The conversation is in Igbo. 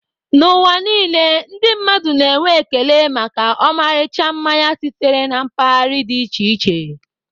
N'ụwa niile, ndị mmadụ na-enwe ekele maka ọmarịcha mmanya sitere na mpaghara dị iche iche.